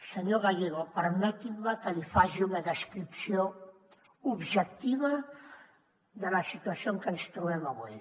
senyor gallego permeti’m que li faci una descripció objectiva de la situació en què ens trobem avui